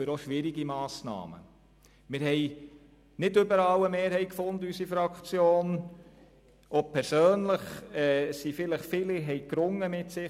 Unsere Fraktion fand nicht überall eine Mehrheit und persönlich haben wahrscheinlich viele mit sich selber gerungen.